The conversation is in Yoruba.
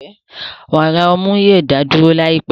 Wàrà ọmú yoo da duro laipẹ